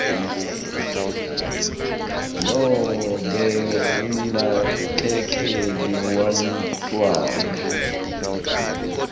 nobe umnakekeli wemntfwana